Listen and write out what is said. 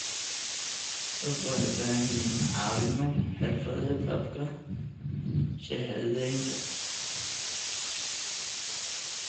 Dadku waxay u baahan yihiin caawimo xirfadeed habka shahaadaynta.